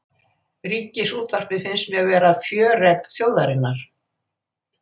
Ríkisútvarpið finnst mér vera fjöregg þjóðarinnar